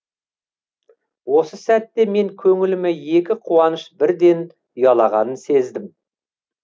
осы сәтте мен көңіліме екі қуаныш бірден ұялағанын сездім